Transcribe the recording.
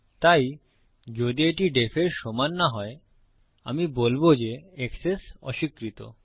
তাই যদি এটি def এর সমান না হয় আমি বলবো যে এক্সেস অস্বীকৃত